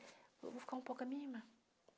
Eu vou ficar um pouco com a minha irmã.